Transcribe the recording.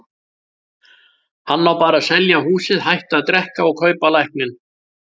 Hann á bara að selja húsið, hætta að drekka og kaupa lækninn.